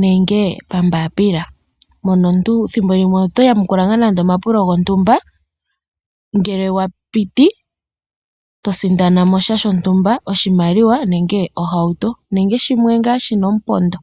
nenge paambapila, moka omuntu thimbo limwe oto yamukula nga nando omapulo gontumba ngele owa piti, oho sindana oshimaliwa nenge oshihauto nenge shimwe nga shina omupondo.